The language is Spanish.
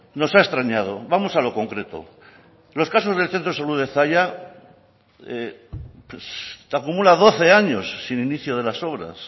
nos ha extrañado vamos a lo concreto los casos del centro de salud de zalla acumula doce años sin inicio de las obras